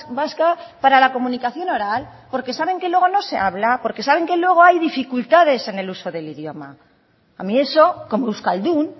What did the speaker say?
vasca para la comunicación oral porque saben que luego no se habla porque saben que luego hay dificultades en el uso del idioma a mí eso como euskaldun